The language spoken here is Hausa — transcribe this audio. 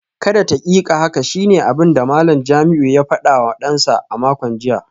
Kada taƙiƙa haka shine abinda Malam Jamiu ya fadawa dansa a makon jiya